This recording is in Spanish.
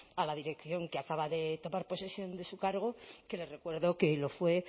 a la dirección que acaba de tomar posesión de su cargo que les recuerdo que lo fue